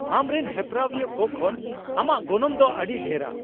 ᱟᱢᱨᱮᱱ ᱦᱮᱯᱨᱟᱣᱤᱭᱟᱹᱠᱚ ᱠᱷᱚᱱ ᱟᱢᱟᱜ ᱜᱚᱱᱚᱝ ᱫᱚ ᱟᱹᱰᱤ ᱰᱷᱮᱨᱟ ᱾